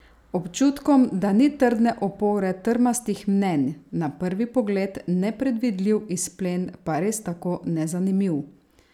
Občutkom, da ni trdne opore trmastih mnenj, na prvi pogled nepredvidljiv izplen pa res tako nezanimiv?